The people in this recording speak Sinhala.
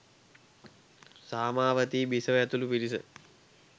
සාමාවතී බිසව ඇතුළු පිරිස